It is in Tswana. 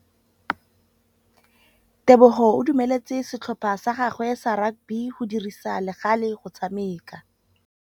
Tebogô o dumeletse setlhopha sa gagwe sa rakabi go dirisa le galê go tshameka.